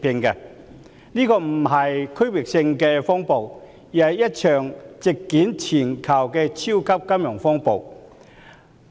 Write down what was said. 這場並非區域性的風暴，而是一場席捲全球的超級金融風暴。